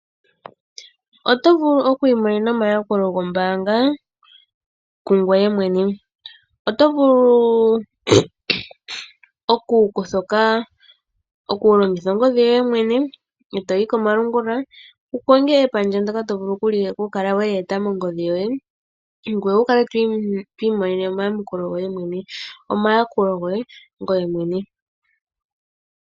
Oto vulu oku imonena omayakulo gombaanga kungoye mwene. Oto vulu okulongitha ongodhi yoye mwene eto yi komalungula wu konge epandja ndoka to vulu okukala we li eta mongodhi yoye. Ngweye wu kale to imonene omayakulo goye mwene.